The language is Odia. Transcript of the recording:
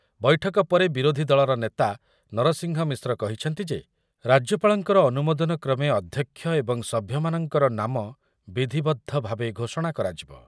ବୈଠକ ପରେ ବିରୋଧି ଦଳର ନେତା ନରସିଂହ ମିଶ୍ର କହିଛନ୍ତି ଯେ, ରାଜ୍ୟପାଳଙ୍କର ଅନୁମୋଦନ କ୍ରମେ ଅଧ୍ୟକ୍ଷ ଏବଂ ସଭ୍ୟମାନଙ୍କର ନାମ ବିଧିବଦ୍ଧ ଭାବେ ଘୋଷଣା କରାଯିବ ।